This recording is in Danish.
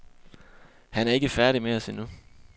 Han er ikke færdig med os endnu.